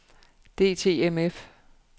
DTMF